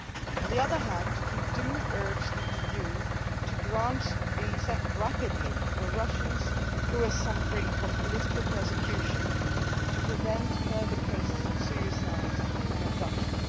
On the other hand we do urge the EU to grant visas rapidly for Russians who are suffering from political persecution, to prevent further cases of suicide and abduction.